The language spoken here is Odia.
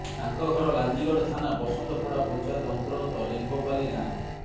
ତାଙ୍କ ଘର ଲାଞ୍ଜିଗଡ଼ ଥାନା ବସନ୍ତପଡ଼ା ପଞ୍ଚାୟତ ଅନ୍ତର୍ଗତ ରେଙ୍ଗୋପାଲି ଗାଁରେ